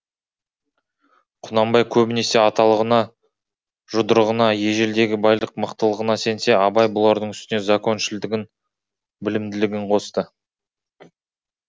құнанбай көбінесе аталығына жұдырығына ежелдегі байлық мықтылығына сенсе абай бұлардың үстіне законшілдігін білімділігін қосты